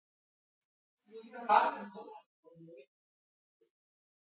Þú ert kannski með eitthvað sterkara líka?